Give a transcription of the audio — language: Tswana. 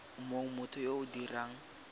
mong motho yo o dirang